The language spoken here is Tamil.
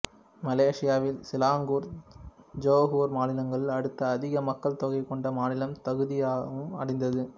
மலேசியாவில் சிலாங்கூர் ஜொகூர் மாநிலங்களுக்கு அடுத்து அதிக மக்கள் தொகை கொண்ட மாநிலமான தகுதியையும் அடைந்தது